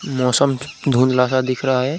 मौसम धूधला -सा दिख रहा हैं।